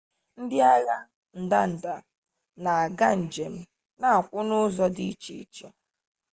ndị agha ndanda na-aga njem na-akwụ n'ụzọ dị iche iche